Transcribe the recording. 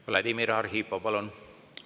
Vladimir Arhipov, palun!